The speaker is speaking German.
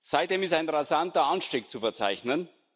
Seitdem ist ein rasanter Anstieg zu verzeichnen.